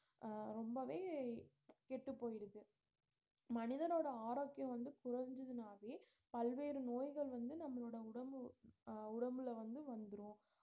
அஹ் ரொம்பவே கெட்டு போயிடுது மனிதனோட ஆரோக்கியம் வந்து குறஞ்சுதுனாவே பல்வேறு நோய்கள் வந்து நம்மளோட உடம்பு அஹ் உடம்புல வந்து வந்துரும்